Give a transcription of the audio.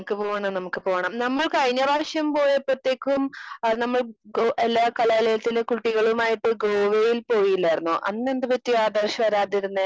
Speaker 2 പോണം. നമുക്ക് പോണം. നമ്മൾ കഴിഞ്ഞ പ്രാവശ്യം പോയപ്പത്തേക്കും ആഹ് നമ്മൾ എല്ലാ കലാലയത്തിലെ കുട്ടികളുമായിട്ട് ഗോവയിൽ പോയില്ലാർന്നോ? അന്ന് എന്ത് പറ്റി ആദർശ് വരാതിരുന്നേ?